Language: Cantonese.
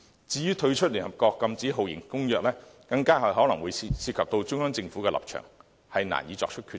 至於退出聯合國《禁止酷刑公約》，更可能涉及中央政府的立場，難以作出決定。